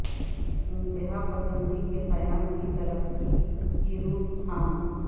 انتہا پسندی کے قیام کی ترقی کی روک تھام